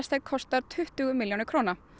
kostar tuttugu milljónir króna